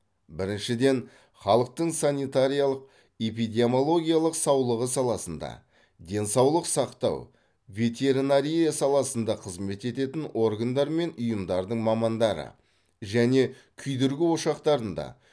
біріншіден халықтың санитариялық эпидемиологиялық саулығы саласында денсаулық сақтау ветеринария саласында қызмет ететін органдар мен ұйымдардың мамандары және күйдіргі ошақтарында